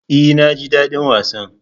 E, naji daɗin wasan.